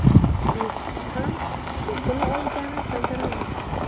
Besh kishi ham shu kuni o‘lgani bildirilmoqda.